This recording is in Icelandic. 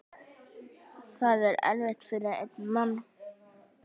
Það er erfitt fyrir einn mann.